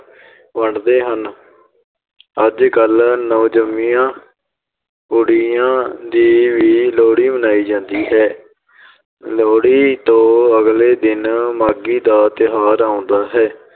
ਵੰਡਦੇ ਹਨ ਅੱਜ ਕੱਲ੍ਹ ਨਵਜ਼ੰਮੀਆਂ ਕੁੜੀਆਂ ਦੀ ਵੀ ਲੋਹੜੀ ਮਨਾਈ ਜਾਂਦੀ ਹੈ ਲੋਹੜੀ ਤੋਂ ਅਗਲੇ ਦਿਨ ਮਾਘੀ ਦਾ ਤਿਉਹਾਰ ਆਉਂਦਾ ਹੈ।